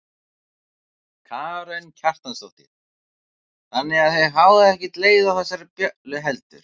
Karen Kjartansdóttir: Þannig að þið fáið ekkert leið á þessari bjöllu heldur?